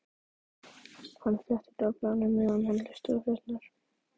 Lærða skólann við Lækjargötu kæmi mér neitt við.